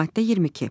Maddə 22.